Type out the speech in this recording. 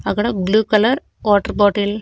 అక్కడ blue colour water bottle .